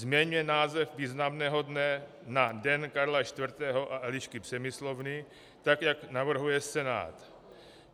Změňme název významného dne na Den Karla IV. a Elišky Přemyslovny tak, jak navrhuje Senát.